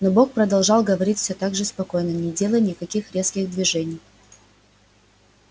но бог продолжал говорить все так же спокойно не делая никаких резких движений